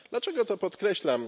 Dlaczego to podkreślam?